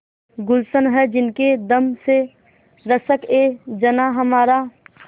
गुल्शन है जिनके दम से रश्कएजनाँ हमारा